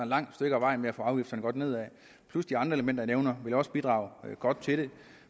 langt stykke ad vejen med at få afgifterne godt nedad de andre elementer jeg nævner ville også bidrage godt til det